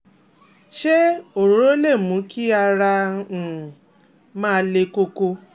se orooro lè mú kí ara rẹ um ma le koko